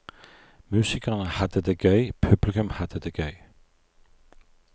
Musikerne hadde det gøy, publikum hadde det gøy.